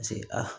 Paseke aa